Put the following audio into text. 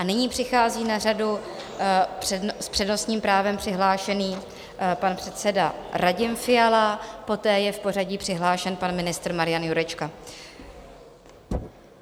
A nyní přichází na řadu s přednostním právem přihlášený pan předseda Radim Fiala, poté je v pořadí přihlášen pan ministr Marian Jurečka.